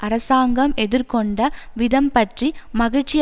அரசாங்கம் எதிர்கொண்ட விதம் பற்றி மகிழ்ச்சி